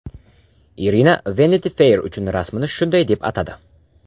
Irina Vanity Fair uchun rasmini shunday deb atadi.